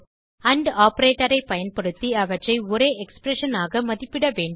and operator ஐ பயன்படுத்தி அவற்றை ஒரே எக்ஸ்பிரஷன் ஆக மதிப்பிட வேண்டும்